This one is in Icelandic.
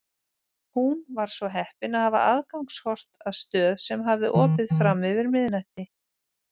Hún var svo heppin að hafa aðgangskort að stöð sem hafði opið fram yfir miðnætti.